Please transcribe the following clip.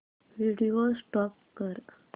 video stop कर